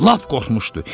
Lap qorxmuşdu.